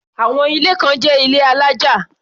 Àwọn ilé kan jẹ́ ilé alájà.